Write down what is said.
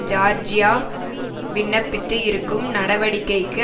Georgia விண்ணப்பித்து இருக்கும் நடவடிக்கைக்கு